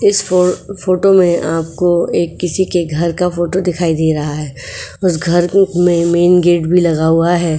इस फ़ो फोटो में आपको एक किसी के घर का फोटो दिखाई दे रहा है उस घर के में मेंन गेट भी लगा हुआ है।